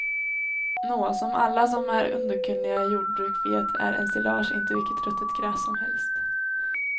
Nå, som alla som är underkunniga i jordbruk vet är ensilage inte vilket ruttet gräs som helst.